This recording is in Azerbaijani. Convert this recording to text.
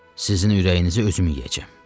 Sizin ürəyinizi özüm yeyəcəm.